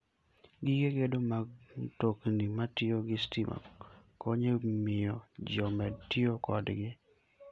Gige gedo mag mtokni matiyo gi stima konyo e miyo ji omed tiyo kodgi.